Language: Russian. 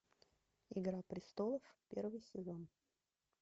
игра престолов первый сезон